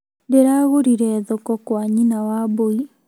Ndĩragũrire thoko kwa nyina wambui